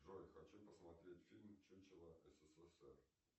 джой хочу посмотреть фильм чучело ссср